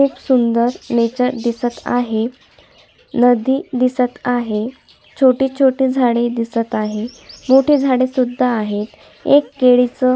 खूप सुंदर नेचर दिसत आहे नदी दिसत आहे छोटी छोटी झाडे दिसत आहेत मोठी झाड सुद्धा आहेत व केळी च--